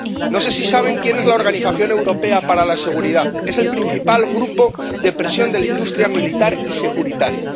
No sé si saben quién es la Organización Europea para la Seguridad. Es el principal grupo de presión de la industria militar y securitaria.